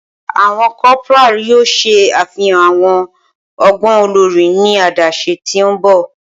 Awọn corporal yoo ṣe afihan awọn ọgbọn olori ni adaṣe ti n bọ.